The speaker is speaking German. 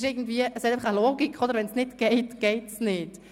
Wenn es nicht geht, geht es nicht.